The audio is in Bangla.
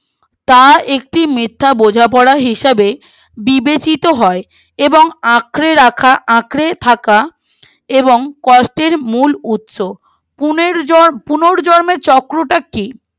তার একটি মিথ্যে বোঝাপড়া হিসাবে বিবেচিত হয় এবং আঁকড়ে রাখা আঁকড়ে থাকা এবং কষ্টের মূল উৎস পূর্ণর পুনর্জর্মের চক্রটাটি